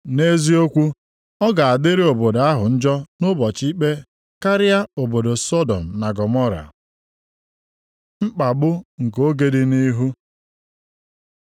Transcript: Nʼeziokwu, ọ ga-adịrị obodo ahụ njọ nʼụbọchị ikpe karịa obodo Sọdọm na Gọmọra. Mkpagbu nke oge dị nʼihu